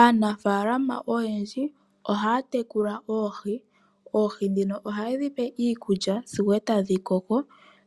Aanafalama oyendji ohaa tekula oohi. Oohi dhino ohaye dhipe iikulya sigo etadhi koko.